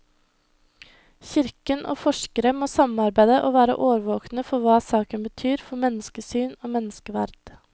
Kirken og forskere må samarbeide og være årvåkne for hva saken betyr for menneskesyn og menneskeverd.